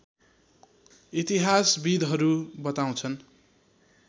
इतिहासविदहरू बताउँछन्